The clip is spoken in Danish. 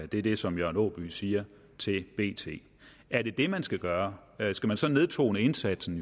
det er det som jørgen aaby siger til bt er det det man skal gøre skal man så nedtone indsatsen